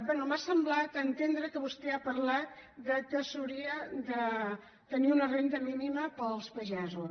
bé m’ha semblat entendre que vostè ha parlat que s’hauria de tenir una renda mínima per als pagesos